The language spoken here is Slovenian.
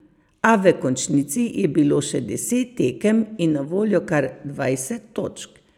A v končnici je bilo še deset tekem in na voljo kar dvajset točk.